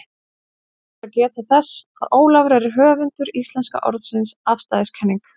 Þá ber að geta þess, að Ólafur er höfundur íslenska orðsins afstæðiskenning.